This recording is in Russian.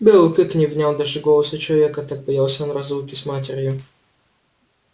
белый клык не внял даже голосу человека так боялся он разлуки с матерью